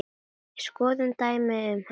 Skoðum dæmi um hana